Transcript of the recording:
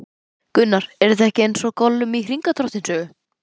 Gunnar: Er þetta ekki eins og Gollum í Hringadróttinssögu?